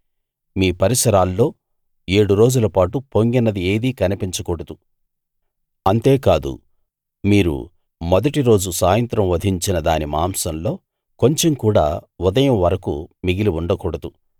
మీ పరిసరాల్లో ఏడు రోజులపాటు పొంగినది ఏదీ కనిపించకూడదు అంతేకాదు మీరు మొదటి రోజు సాయంత్రం వధించిన దాని మాంసంలో కొంచెం కూడా ఉదయం వరకూ మిగిలి ఉండకూడదు